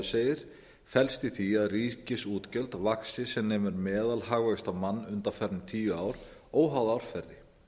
segir felst í því að ríkisútgjöld vaxi sem nemur meðalhagvexti á mann undanfarin tíu ár óháð árferði